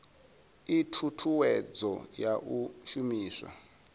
ii thuthuwedzo ya u shumiswa